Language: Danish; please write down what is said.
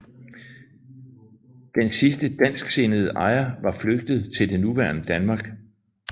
Den sidste dansksindede ejer var flygtet til det nuværende Danmark